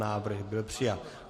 Návrh byl přijat.